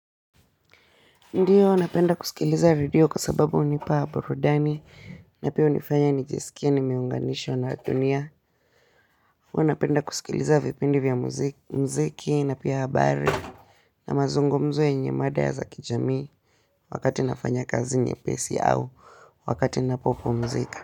Ndiyo napenda kusikiliza redio kwa sababu hunipa burudani na pia hunifanya nijisikie nimeunganishwa na dunia huwa napenda kusikiliza vipindi vya muziki na pia habari na mazungumzo yenye mada za kijami wakati nafanya kazi nyepesi au wakati ninapopomzika.